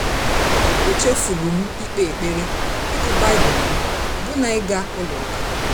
Mchefuru m ikpe ekpere, ịgụ Baịbụl m, ọbụna ịga ụka.